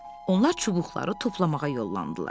Onlar çubuqları toplamağa yollandılar.